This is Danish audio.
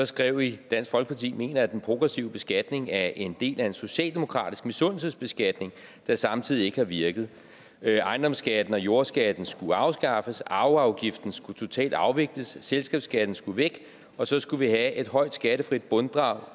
skrev i dansk folkeparti mener at den progressive beskatning er en del af en socialdemokratisk misundelsesbeskatning der samtidig ikke har virket ejendomsskatten og jordskatten skulle afskaffes arveafgiften skulle totalt afvikles selskabsskatten skulle væk og så skulle vi have et højt skattefrit bundfradrag